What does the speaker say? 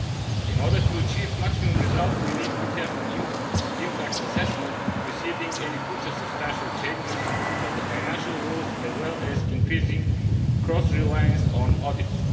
In order to achieve maximum results we need to have impact assessment preceding any future substantial changes of the financial rules, as well as increasing cross reliance on audits.